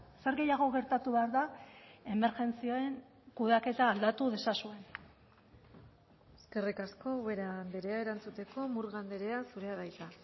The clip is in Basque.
zer gehiago gertatu behar da emergentzien kudeaketa aldatu dezazuen eskerrik asko ubera andrea erantzuteko murga andrea zurea da hitza